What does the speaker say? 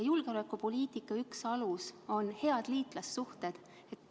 Julgeolekupoliitika üks aluseid on head liitlassuhted.